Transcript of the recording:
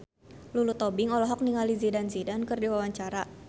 Lulu Tobing olohok ningali Zidane Zidane keur diwawancara